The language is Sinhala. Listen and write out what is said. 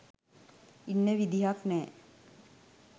ඉන්න විදියක් නෑ.